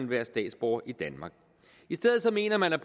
være statsborger i danmark i stedet mener man at